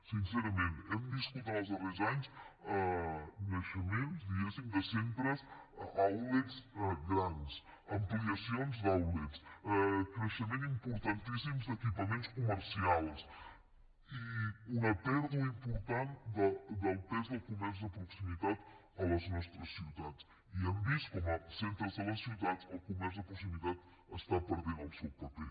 sincerament hem viscut en els darrers anys naixements diguem ne de centres outlets grans ampliacions d’outlets creixements importantíssims d’equipaments comercials i una pèrdua important del pes del comerç de proximitat a les nostres ciutats i hem vist com als centres de les ciutats el comerç de proximitat està perdent el seu paper